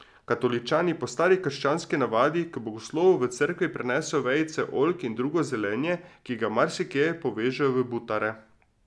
Katoličani po stari krščanski navadi k blagoslovu v cerkve prinesejo vejice oljk in drugo zelenje, ki ga marsikje povežejo v butare.